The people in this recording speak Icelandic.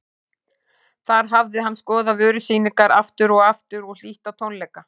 Þar hafði hann skoðað vörusýningar aftur og aftur og hlýtt á tónleika.